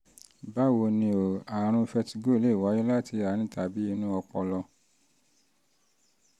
báwo ni o? àrùn vertigo lè wáyé láti àárín tàbí inú ọpọlọ